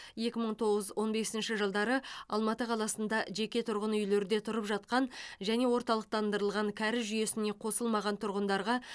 екі мың тоғыз екі мың он бесінші жылдары алматы қаласында жеке тұрғын үйлерде тұрып жатқан және орталықтандырылған кәріз жүйесіне қосылмаған тұрғындарға